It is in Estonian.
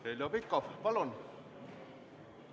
Heljo Pikhof, palun!